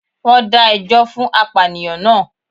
Wón dá ẹjọ́ fún apànìyàn naa